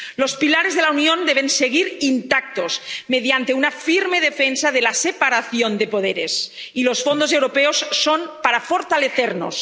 Los pilares de la Unión deben seguir intactos mediante una firme defensa de la separación de poderes. Y los fondos europeos son para fortalecernos.